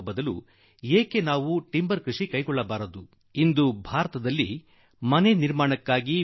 ಆದರೆ ಆ ಬೇಲಿಗೆ ಬದಲಾಗಿ ನೆಡುತೋಪು ಏಕೆ ಬಳಸಬಾರದು ಎಂದು ನಮ್ಮ ರೈತ ಸೋದರರಲ್ಲಿ ನಾನು ಪದೇಪದೆ ಕೇಳುವೆ